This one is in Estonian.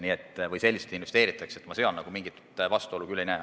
Nii et ma siin küll mingit vastuolu ei näe.